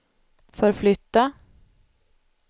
förflytta